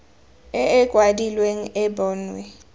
e e kwadilweng e bonwe